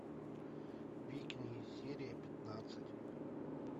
викинги серия пятнадцать